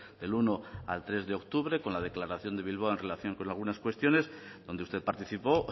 del uno al tres de octubre con la declaración de bilbao en relación con algunas cuestiones donde usted participó